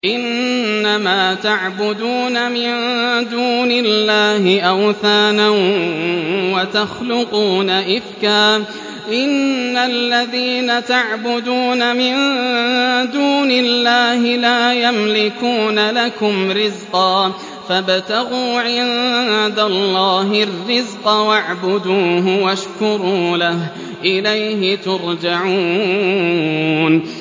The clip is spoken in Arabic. إِنَّمَا تَعْبُدُونَ مِن دُونِ اللَّهِ أَوْثَانًا وَتَخْلُقُونَ إِفْكًا ۚ إِنَّ الَّذِينَ تَعْبُدُونَ مِن دُونِ اللَّهِ لَا يَمْلِكُونَ لَكُمْ رِزْقًا فَابْتَغُوا عِندَ اللَّهِ الرِّزْقَ وَاعْبُدُوهُ وَاشْكُرُوا لَهُ ۖ إِلَيْهِ تُرْجَعُونَ